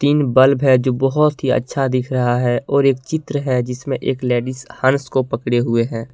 तीन बल्ब है जो बहोत ही अच्छा दिख रहा है और एक चित्र है जिसमें एक लेडीज हंस को पकड़े हुए है।